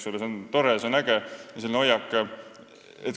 Selline hoiak on tore, see on äge.